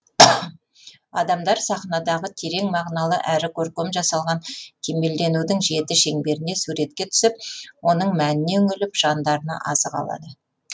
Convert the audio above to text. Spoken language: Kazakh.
адамдар сахнадағы терең мағыналы әрі көркем жасалған кемелденудің жеті шеңберіне суретке түсіп оның мәніне үңіліп жандарына азық алады